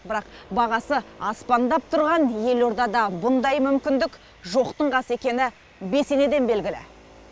бірақ бағасы аспандап тұрған елордада бұндай мүмкіндік жоқтың қасы екені бесенеден белгілі